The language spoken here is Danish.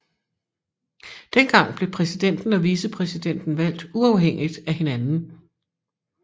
Dengang blev præsidenten og vicepræsidenten valgt uafhængigt af hinanden